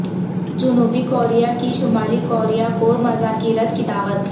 جنوبی کوریا کی شمالی کوریا کو مذاکرات کی دعوت